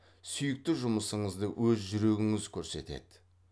сүйікті жұмысыңызды өз жүрегіңіз көрсетеді